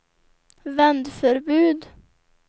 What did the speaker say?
vändförbud